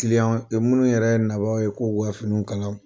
minnu yɛrɛ na n'o ye ko ka finiw kala